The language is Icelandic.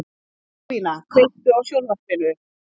Tryggvína, kveiktu á sjónvarpinu.